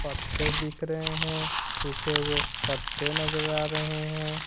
पत्ते दिख रहे हैं सूखे हुए पत्ते नजर आ रहे हैं।